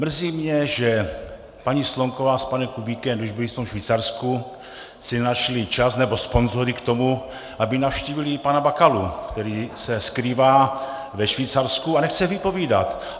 Mrzí mě, že paní Slonková s panem Kubíkem, když byli v tom Švýcarsku, si nenašli čas nebo sponzory k tomu, aby navštívili pana Bakalu, který se skrývá ve Švýcarsku a nechce vypovídat.